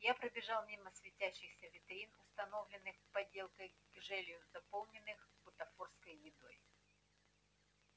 я пробежал мимо светящихся витрин установленных поделкой гжелью заполненных бутафорской едой